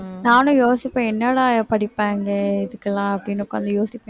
நானும் யோசிப்பேன் என்னடா படிப்பாங்க இதுக்கெல்லாம் அப்படீன்னு யோசிப்பேன்